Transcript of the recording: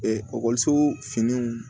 ekɔliso finiw